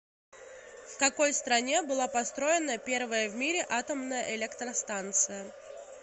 в какой стране была построена первая в мире атомная электростанция